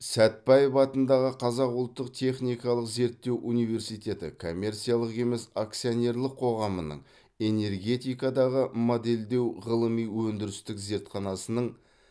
сәтбаев атындағы қазақ ұлттық техникалық зерттеу университеті коммерциялық емес акционерлік қоғамының энергетикадағы модельдеу ғылыми өндірістік зертханасының